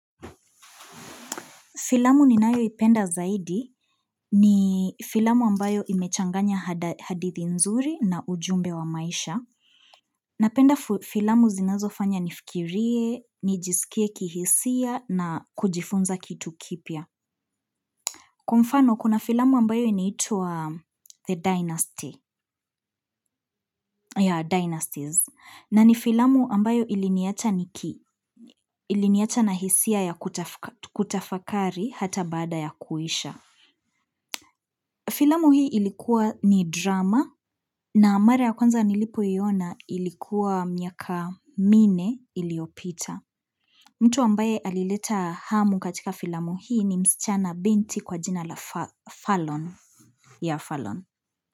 Filamu ninayoipenda zaidi ni filamu ambayo imechanganya hadithi nzuri na ujumbe wa maisha. Napenda filamu zinazofanya nifikirie, nijisikie kihisia na kujifunza kitu kipya. Kwa mfano kuna filamu ambayo inaitwa The Dynasties na ni filamu ambayo iliniacha na hisia ya kutafakari hata baada ya kuisha. Filamu hii ilikuwa ni drama na mara ya kwanza nilipoiona ilikuwa miaka minne iliopita. Mtu ambaye alileta hamu katika filamu hii ni msichana binti kwa jina la Fallon yeah Fallon.